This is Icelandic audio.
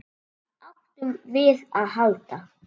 Hvað áttum við að halda?